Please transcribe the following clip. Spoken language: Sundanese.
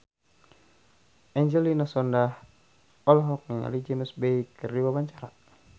Angelina Sondakh olohok ningali James Bay keur diwawancara